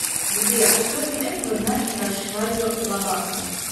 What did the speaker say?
сбер что интересного знаешь про шайю лабафа